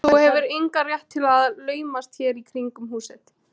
Þú hefur engan rétt til að laumast hér í kringum húsið.